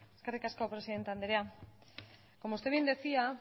eskerrik asko presidenta andrea como usted bien decía